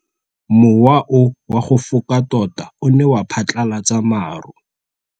Mowa o wa go foka tota o ne wa phatlalatsa maru.